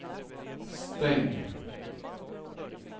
stäng